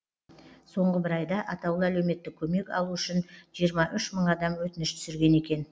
соңғы бір айда атаулы әлеуметтік көмек алу үшін жиырма үш мың адам өтініш түсірген екен